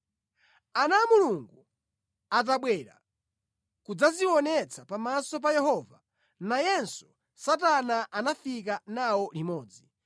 Ana a Mulungu atabwera kudzadzionetsa pamaso pa Yehova, nayenso Satana anafika nawo limodzi.